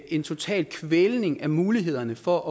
en total kvælning af mulighederne for